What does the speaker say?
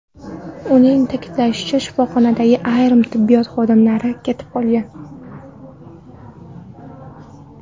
Uning ta’kidlashicha, shifoxonadagi ayrim tibbiyot xodimlari ketib qolgan.